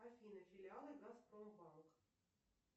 афина филиалы газпромбанк